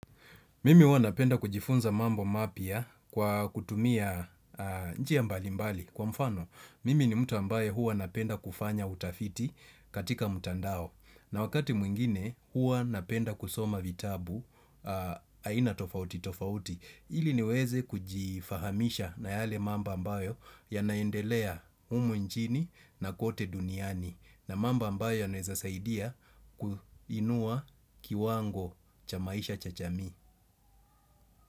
Mimi huwa napenda kujifunza mambo mapya kwa kutumia njia mbali mbali kwa mfano. Mimi ni mtu ambaye huwa napenda kufanya utafiti katika mtandao. Na wakati mwingine huwa napenda kusoma vitabu aina tofauti tofauti. Ili niweze kujifahamisha na yale mambo ambayo yanaendelea humu nchini na kote duniani. Na mambo ambayo yanaweza saidia kuinua kiwango cha maisha cha jamii.